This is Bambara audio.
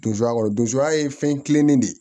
Donso kɔnɔ donya ye fɛn kilennen de ye